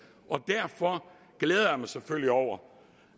derfor glæder jeg mig selvfølgelig over